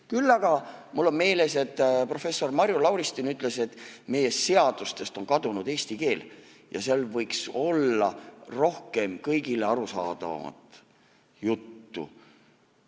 Küll aga mul on meeles, kui professor Marju Lauristin ütles, et meie seadustest on kadunud eesti keel ja seal võiks olla rohkem kõigile arusaadavat juttu.